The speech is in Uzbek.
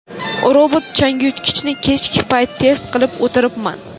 Robot-changyutgichni kechki payt test qilib o‘tiribman.